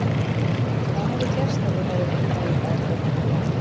Hvað hefði gerst ef þú hefðir ekki farið í meðferð þennan dag?